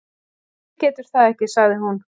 Hver getur það ekki? sagði hún.